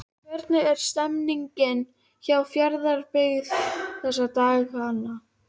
Hvernig er stemmningin hjá Fjarðabyggð þessa dagana?